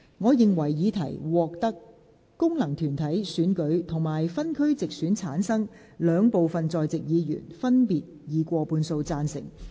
我認為議題獲得經由功能團體選舉產生及分區直接選舉產生的兩部分在席議員，分別以過半數贊成。